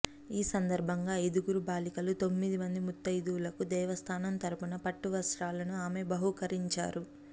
ఈ సందర్భంగా ఐదుగురు బాలికలు తొమ్మిదిమంది ముత్తయిదువులకు దేవస్థానం తరుపున పట్టువస్త్రాలను ఆమె బహూకరించారు